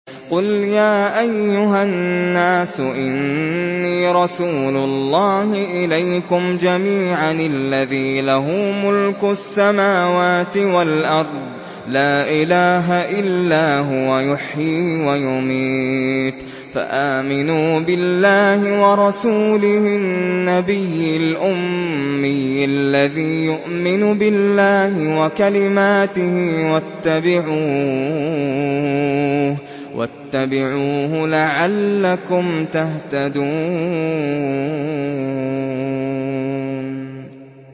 قُلْ يَا أَيُّهَا النَّاسُ إِنِّي رَسُولُ اللَّهِ إِلَيْكُمْ جَمِيعًا الَّذِي لَهُ مُلْكُ السَّمَاوَاتِ وَالْأَرْضِ ۖ لَا إِلَٰهَ إِلَّا هُوَ يُحْيِي وَيُمِيتُ ۖ فَآمِنُوا بِاللَّهِ وَرَسُولِهِ النَّبِيِّ الْأُمِّيِّ الَّذِي يُؤْمِنُ بِاللَّهِ وَكَلِمَاتِهِ وَاتَّبِعُوهُ لَعَلَّكُمْ تَهْتَدُونَ